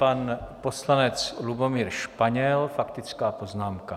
Pan poslanec Lubomír Španěl, faktická poznámka.